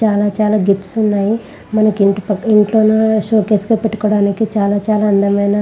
చాలా చాలా గిఫ్ట్స్ ఉన్నాయి.మనకి ఇంటిపట్ ఇంట్లో సోకేస్ లో పెట్టుకోవడానికి చాలా చాలా అందమైన--